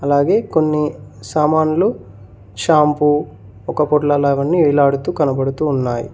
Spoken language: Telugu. అలాగే కొన్ని సామాన్లు షాంపు ఒకపూట వేలాడుతూ కనబడుతు ఉన్నాయి.